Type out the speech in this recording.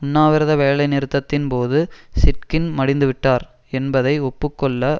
உண்ணாவிரத வேலைநிறுத்தத்தின் போது சிட்கின் மடிந்துவிட்டார் என்பதை ஒப்பு கொள்ள